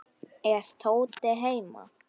Er Tóti heima?